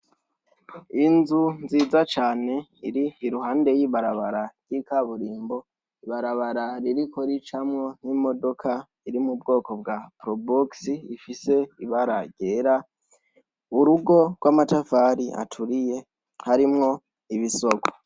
Inzu nziza cane iri iruhande y'ibarabara ry'ikaburimbo ibarabararirikoricamwo nk'imodoka iri mu bwoko bwa probuksi ifise ibara rera urugo rw'amatafari aturiye harimwo ibisoko.